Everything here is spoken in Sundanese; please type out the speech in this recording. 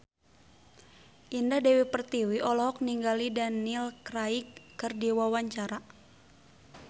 Indah Dewi Pertiwi olohok ningali Daniel Craig keur diwawancara